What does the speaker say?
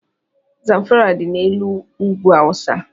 Zamfara dị n' ùgwù awụsa.